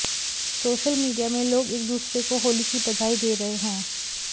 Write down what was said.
social media में लोग एक दूसरे को होली की बधाई दे रहे हैं